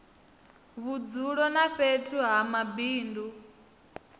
vhudzulo na fhethu ha mabindu